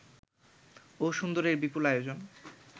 ও সুন্দরের বিপুল আয়োজন